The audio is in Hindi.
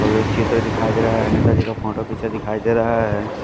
और एक चित्र दिखाई दे रहा है नेता जी का फोटो पीछे दिखाई दे रहा है।